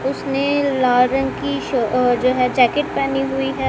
उसने लाल रंग की श अह जो है जैकेट पेहनी हुई है।